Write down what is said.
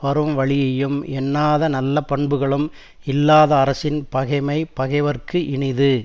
வரும் வழியையும் எண்ணாத நல்ல பண்புகளும் இல்லாத அரசின் பகைமை பகைவர்க்கு இனிது